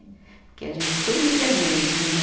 Porque a gente sumia mesmo, né?